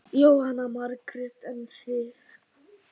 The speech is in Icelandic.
Jóhanna Margrét: En þið?